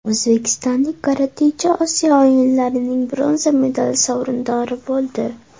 O‘zbekistonlik karatechi Osiyo o‘yinlarining bronza medali sovrindori bo‘ldi.